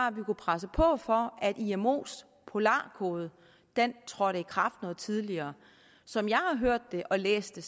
at presse på for at imos polar code trådte i kraft noget tidligere som jeg har hørt og læst det